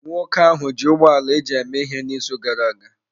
Nwoke ahụ ji ụgbọ ala eji eme ihe n'izu gara aga.